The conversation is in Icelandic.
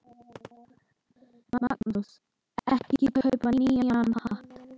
Magnús: Ekki kaupa nýjan hatt?